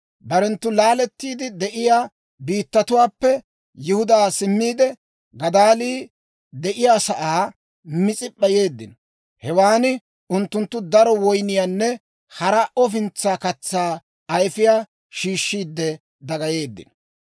Barenttu laalettiide de'iyaa biittatuwaappe Yihudaa simmiide, Gadaalii de'iyaasaa Mis'ip'p'a yeeddino. Hewan unttunttu daro woyniyaanne hara ofintsaa katsaa ayifiyaa shiishshiide dagayeeddino.